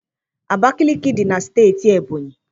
Abakaliki dị na Steeti Ebonyi.